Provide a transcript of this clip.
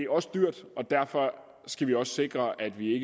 også dyrt og derfor skal vi også sikre at vi